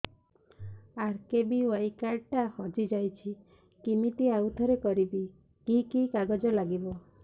RKBY card ଟା ହଜିଯାଇଛି କିମିତି ଆଉଥରେ କରିବି କି କି କାଗଜ ଲାଗିବ